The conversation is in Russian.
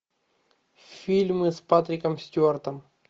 фильмы с патриком стюартом